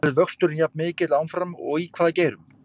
Verður vöxturinn jafn mikill áfram og í hvaða geirum?